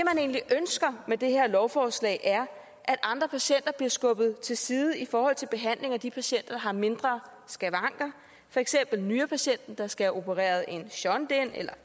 egentlig ønsker med det her lovforslag er at andre patienter bliver skubbet til side i forhold til behandling af de patienter der har mindre skavanker for eksempel nyrepatienten der skal have opereret en shunt ind eller